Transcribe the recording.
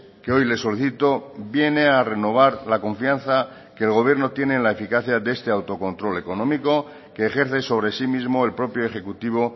que hoy le solicito viene a renovar la confianza que el gobierno tiene en la eficacia de este autocontrol económico que ejerce sobre sí mismo el propio ejecutivo